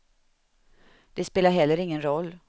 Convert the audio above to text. Det spelar heller ingen roll.